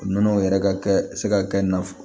Nɔnɔ yɛrɛ ka kɛ se ka kɛ nafolo